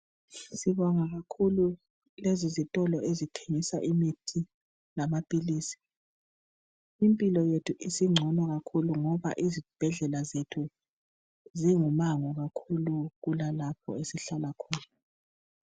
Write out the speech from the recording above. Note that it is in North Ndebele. Sibonga kakhulu lezi zitolo ezithengisa imithi lamaphilisi impilo yethu isingcono kakhulu ngoba izibhedlela zethu zingumango kakhulu kulalapho esihlala khona .